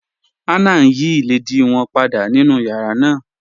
Hannah ń yí ilẹ̀dìí wọn pàdà nínu yàrá náà.